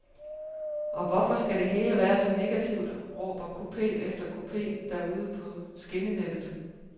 Og hvorfor skal det hele være så negativt, råber kupe efter kupe derude på skinnenettet?